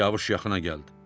Siyavuş yaxına gəldi